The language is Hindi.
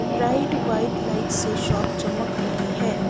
ब्राइट व्हाइट लाइट से शॉप चमक रही है।